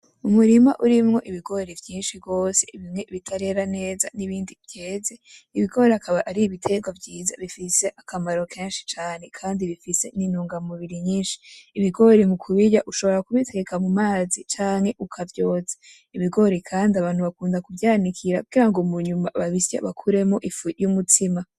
Umurima urimwo Ibigori vyinshi gose bimwe bitarera neza n'ibindi vyeze ibigori akaba ari ibiterwa vyiza bifise akamaro kenshi cane Kandi bifise n'intungamubiri nyishi. Ibigori mukubirya ushobora kuteka mumazi canke ukavyotsa ,Ibigori Kandi abantu bakunda kuvyanikira kugira ngo munyuma babisye bakuramwo ifu y'umutsima.